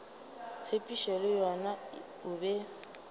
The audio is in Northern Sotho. tshepišo le yena o be